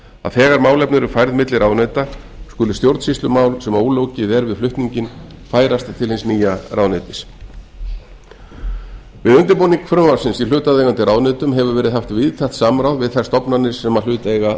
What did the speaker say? að þegar málefni eru færð milli ráðuneyta skuli stjórnsýslumál sem ólokið er við flutninginn færast til hins nýja ráðuneytis við undirbúning frumvarpsins í hlutaðeigandi ráðuneytum hefur verið haft víðtækt samráð við þær stofnanir sem hluta eiga að